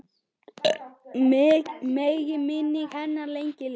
Megi minning hennar lengi lifa.